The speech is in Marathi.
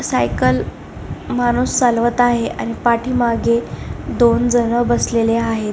सायकल माणूस चालवत आहे आणि पाठीमागे दोन जण बसलेले आहेत.